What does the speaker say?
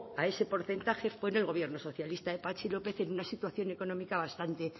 a ese porcentaje fue en el gobierno socialista de patxi lópez en una situación económica bastante